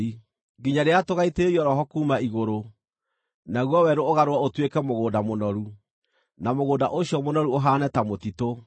nginya rĩrĩa tũgaitĩrĩrio Roho kuuma igũrũ, naguo werũ ũgarũrwo ũtuĩke mũgũnda mũnoru, na mũgũnda ũcio mũnoru ũhaane ta mũtitũ.